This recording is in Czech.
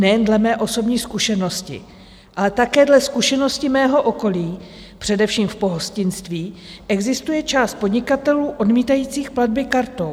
Nejen dle mé osobní zkušenosti, ale také dle zkušenosti mého okolí především v pohostinství existuje část podnikatelů odmítajících platby kartou.